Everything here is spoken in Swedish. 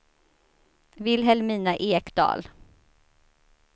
Vilhelmina Ekdahl